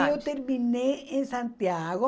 Aí eu terminei em Santiago.